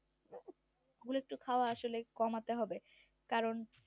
ওগুলো একটু আসলে খাওয়া কমাতে হবে